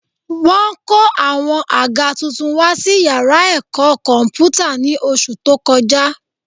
Wọ́n kó àwọn àga tuntun wá sí yàrá ẹ̀kọ́ kọ̀m̀pútà ní oṣù tó kọjá